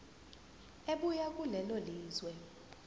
ebuya kulelo lizwe